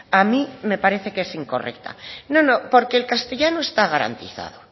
a mí me parece que es incorrecta no no porque el castellano está garantizado